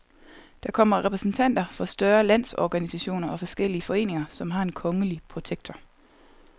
Der kommer repræsentanter for større landsorganisationer og forskellige foreninger, som har en kongelige protektor.